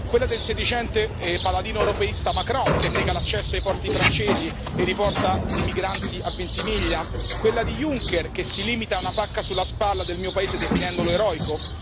Quella del sedicente paladino europeista Macron, che nega l'accesso ai porti francesi e riporta i migranti a Ventimiglia? Quella di Juncker, che si limita a una pacca sulla spalla del mio paese, definendolo eroico?